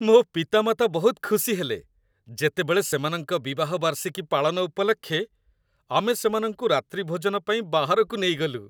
ମୋ ପିତାମାତା ବହୁତ ଖୁସି ହେଲେ, ଯେତେବେଳେ ସେମାନଙ୍କ ବିବାହ ବାର୍ଷିକୀ ପାଳନ ଉପଲକ୍ଷେ ଆମେ ସେମାନଙ୍କୁ ରାତ୍ରିଭୋଜନ ପାଇଁ ବାହାରକୁ ନେଇଗଲୁ।